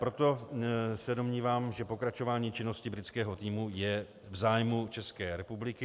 Proto se domnívám, že pokračování činnosti britského týmu je v zájmu České republiky.